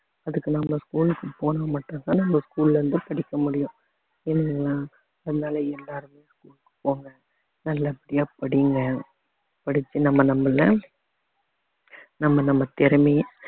அதுக்கு நம்ம school க்கு போனா மட்டும்தான் நம்ம school ல இருந்து படிக்க முடியும் இல்லைங்களா அதனால எல்லாருமே school க்கு போங்க நல்ல படியா படிங்க படிச்சு நம்ம நம்மளை நம்ம நம்ம திறமைய